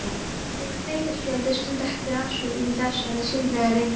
Heyrði að þeytispjaldið stundi upp afsökun í þessari skyndilegu ringulreið.